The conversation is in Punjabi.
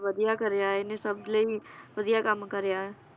ਵਧੀਆ ਕਰਿਆ ਇਹਨੇ ਸਬ ਲਈ ਵਧੀਆ ਕੰਮ ਕਰਿਆ ਏ